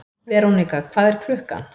Verónika, hvað er klukkan?